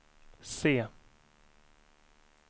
C